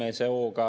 Ester Karuse, palun!